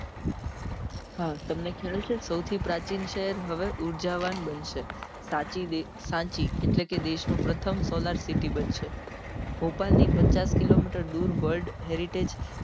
તમને ખ્યાલ છે સૌથી પ્રાચીન છે હવે ઉર્જા વાન બનશે સાંચી સાંચી એટલે કે દેશ નું પ્રથમ solar city બનશે ભોપાલ ની પચાસ કિલો મીટર દુર world heritage